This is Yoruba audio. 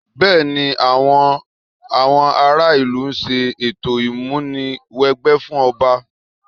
Bẹ́ẹ̀ni, àwọn àwọn ará ìlú ń ṣe ètò ìmúni wẹgbẹ́ fún ọba